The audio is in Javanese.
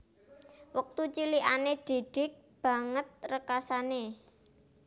Wektu cilikane Didik banget rekasane